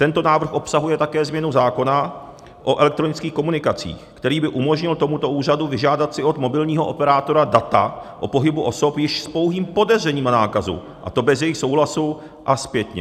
Tento návrh obsahuje také změnu zákona o elektronických komunikacích, který by umožnil tomuto úřadu vyžádat si od mobilního operátora data o pohybu osob již s pouhým podezřením o nákaze, a to bez jejich souhlasu a zpětně.